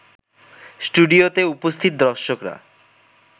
স্টুডিওতে উপস্থিত দর্শকরা